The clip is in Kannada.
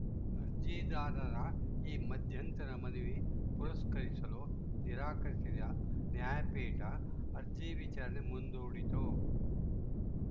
ಅರ್ಜಿದಾರರ ಈ ಮಧ್ಯಂತರ ಮನವಿ ಪುರಸ್ಕರಿಸಲು ನಿರಾಕರಿಸಿದ ನ್ಯಾಯಪೀಠ ಅರ್ಜಿ ವಿಚಾರಣೆ ಮುಂದೂಡಿತು